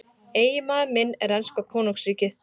Eiginmaður minn er enska konungsríkið.